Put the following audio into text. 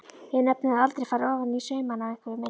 Hef nefnilega aldrei farið ofaní saumana á einveru minni.